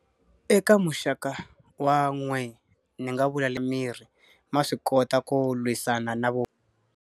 Eka muxaka wa n'we ni nga vula mirhi ma swi kota ku lwisana na vu.